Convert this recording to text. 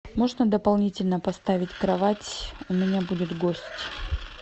можно дополнительно поставить кровать у меня будет гость